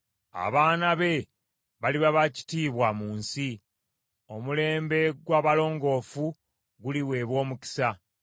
Abaana be baliba ba kitiibwa mu nsi; omulembe gw’abalongoofu guliweebwa omukisa.